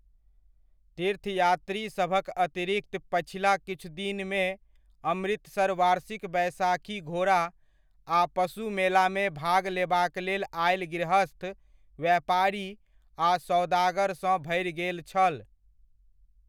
तीर्थयात्रीसभक अतिरिक्त पछिला किछु दिनमे अमृतसर वार्षिक बैसाखी घोड़ा आ पशु मेलामे भाग लेबाक लेल आयल गृहस्थ, व्यापारी आ सओदागरसँ भरि गेल छल।